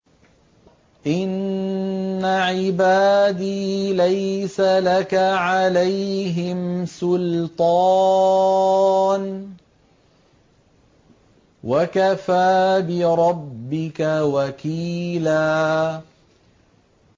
إِنَّ عِبَادِي لَيْسَ لَكَ عَلَيْهِمْ سُلْطَانٌ ۚ وَكَفَىٰ بِرَبِّكَ وَكِيلًا